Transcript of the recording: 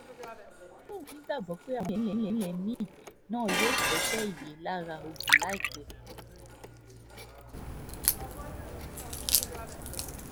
ó lóun nígbàgbọ́ yóò kọ́ṣẹ́ èyí lára ogun láìpẹ́